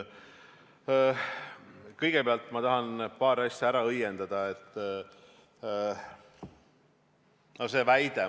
Kõigepealt tahan ma paar asja ära õiendada.